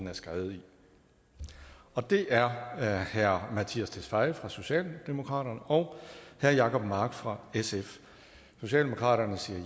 er skrevet med og det er herre mattias tesfaye fra socialdemokratiet og herre jacob mark fra sf socialdemokratiet